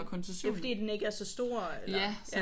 Det er fordi den ikke er så stor eller?